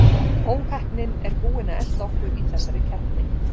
Óheppnin er búin að elta okkur í þessari keppni.